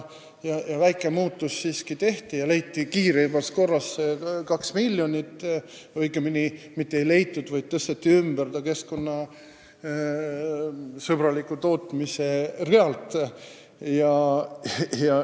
Väike muudatus siiski tehti ja leiti kiiremas korras 2 miljonit – õigemini mitte ei leitud, vaid tõsteti see keskkonnasõbraliku tootmise realt ümber.